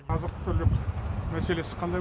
азық түлік мәселесі қандай